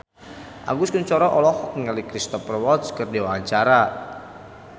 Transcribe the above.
Agus Kuncoro olohok ningali Cristhoper Waltz keur diwawancara